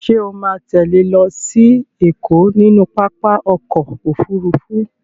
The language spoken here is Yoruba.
Ṣo ma tẹ́lẹ̀ lọ sí Ẹ̀kọ́ nínú pápá ọkọ̀ Òfurufú?